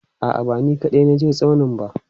A'a, ba ni kaɗai na je tsaunin ba.